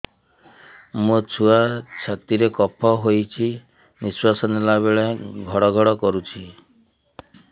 ମୋ ଛୁଆ ଛାତି ରେ କଫ ହୋଇଛି ନିଶ୍ୱାସ ନେଲା ବେଳେ ଘଡ ଘଡ କରୁଛି